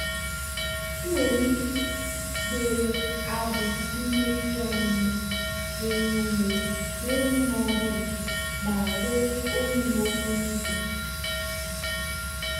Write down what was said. ị nwere ike gwerie agụ n'ime ihe ọṅụṅụ na-enye ume ọhụrụ ma ree oyi n'okporo ụzọ.